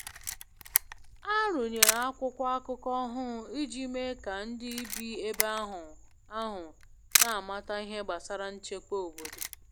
A rụnyere akwụkwọ akụkọ ọhụrụ iji mee ka ndị bi ebe ahụ ahụ n'amata ihe gbasara nchekwa obodo.